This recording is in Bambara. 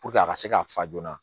a ka se ka fa joona